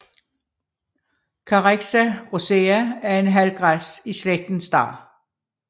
Carex rosea er en halvgræs i slægten star